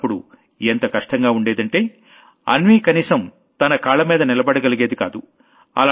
అసలప్పుడు ఎంత కష్టంగా ఉండేదంటే అన్వీ కనీసం తన కాళ్లమీద నిలబడగలిగేది కాదు